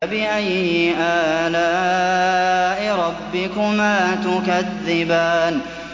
فَبِأَيِّ آلَاءِ رَبِّكُمَا تُكَذِّبَانِ